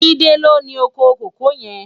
Jide ló ni ókó kókòó yèn